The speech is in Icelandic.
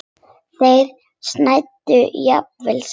Þeir snæddu jafnvel saman.